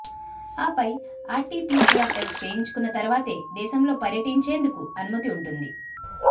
ఆపై RTPCR test చేయించుకున్న తరువాతే దేశంలో పర్యటించేందుకు అనుమతి ఉంటుంది